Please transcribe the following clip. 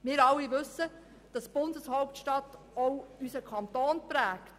Wir alle wissen, dass die Bundeshauptstadt auch unseren Kanton prägt.